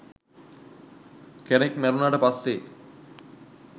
කෙනෙක් මැරුණට පස්සේ